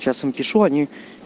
сейчас им пишу они